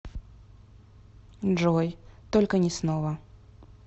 джой только не снова